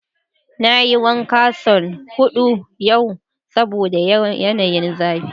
Na yi wanka son hudu yau saboda yanayin zafin.